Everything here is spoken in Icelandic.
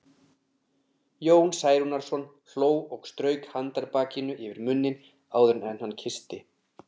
Jón Særúnarson hló og strauk handarbakinu yfir munninn áður en hann kyssti